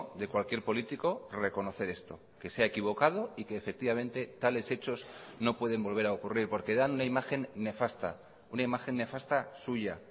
de cualquier político reconocer esto que se ha equivocado y que efectivamente tales hechos no pueden volver a ocurrir porque dan una imagen nefasta una imagen nefasta suya